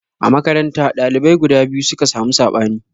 A makaranta, dalibai guda biyu suka samu sabani.